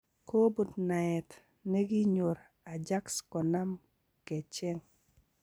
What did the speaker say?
Kobun naet nekinyor Ajax konam kecheng'.